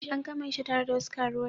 An kama Aisha tare da wasu karuwai.